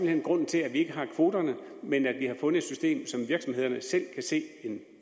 hen grunden til at vi ikke har kvoterne men at vi har fundet et system som virksomheden selv kan se en